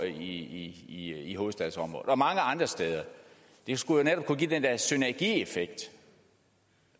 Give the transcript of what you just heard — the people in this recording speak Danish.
i i hovedstadsområdet og mange andre steder det skulle jo netop kunne give den der synergieffekt